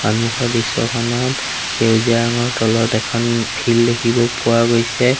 সন্মুখৰ দৃশ্যখনত সেউজীয়া ৰঙৰ তলত এখন ফিল্ড দেখিব পোৱা গৈছে।